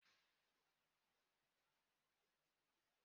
Ee, Anambra bu steeti m.